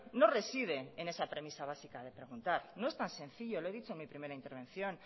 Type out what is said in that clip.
no reside en esa premisa básica de preguntar no es tan sencillo lo he dicho en mi primera intervención